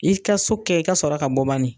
I ka so kɛ i ka sɔrɔ ka bɔ bani